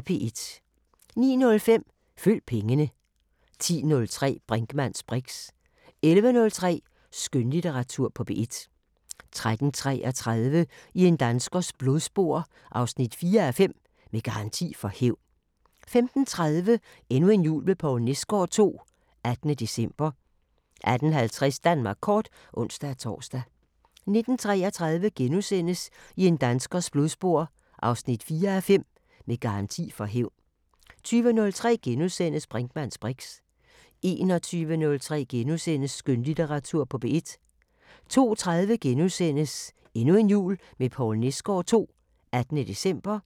09:05: Følg pengene 10:03: Brinkmanns briks 11:03: Skønlitteratur på P1 13:33: I en danskers blodspor 4:5 – Med garanti for hævn 15:30: Endnu en jul med Poul Nesgaard II – 18. december 18:50: Danmark Kort (ons-tor) 19:33: I en danskers blodspor 4:5 – Med garanti for hævn * 20:03: Brinkmanns briks * 21:03: Skønlitteratur på P1 * 02:30: Endnu en jul med Poul Nesgaard II – 18. december *